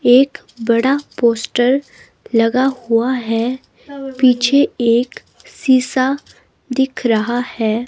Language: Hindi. एक बड़ा पोस्टर लगा हुआ है पीछे एक शीशा दिख रहा है.